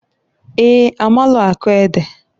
Eeǃ A maalụ akọ ede.